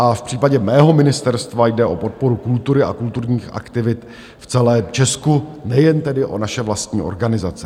A v případě mého ministerstva jde o podporu kultury a kulturních aktivit v celém Česku, nejen tedy o naše vlastní organizace.